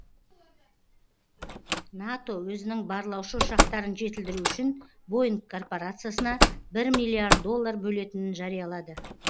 нато өзінің барлаушы ұшақтарын жетілдіру үшін боинг корпорациясына бір миллиард доллар бөлетінін жариялады